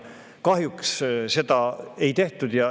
Kahjuks seda ei tehtud.